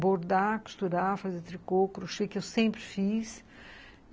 bordar, costurar, fazer tricô, crochê, que eu sempre fiz.